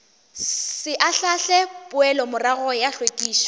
se ahlaahle poelomorago ya hlwekišo